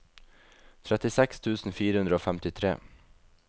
trettiseks tusen fire hundre og femtitre